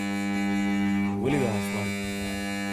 Waligaa haiswalin .